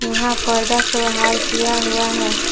यहां पर्दा से ओहार किया हुआ है।